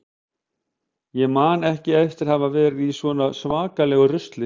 Ég man ekki eftir að hafa verið í svona svakalegu rusli.